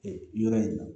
Ee yɔrɔ in na